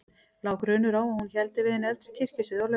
Lá grunur á að hann héldi við hinn eldri kirkjusið á laun.